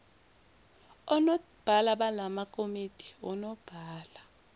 onobhala balamakomidi onobhala